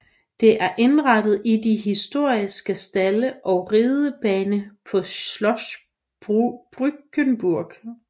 Det er indrettet i de historiske stalde og ridebane på Schloss Bückeburg